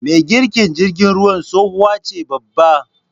me girkin jirgin ruwan tsohuwace babba